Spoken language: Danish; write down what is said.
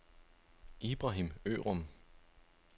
Ibrahim Ørum